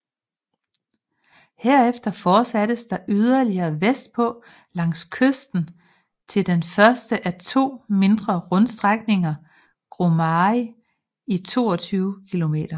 Herefter fortsattes der yderligere vestpå langs kysten til den første af de to mindre rundstrækninger Grumari i 22 km